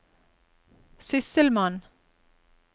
sysselmann